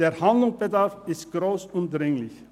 Der Handlungsbedarf ist gross und dringlich.